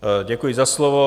Děkuji za slovo.